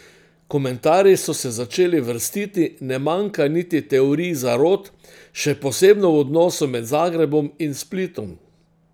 Komentarji so se začeli vrstiti, ne manjka niti teorij zarot, še posebno v odnosu med Zagrebom in Splitom.